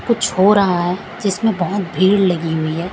कुछ हो रहा है जिसमें बहुत भीड़ लगी हुई हैं।